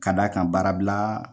Ka d'a kan baara bila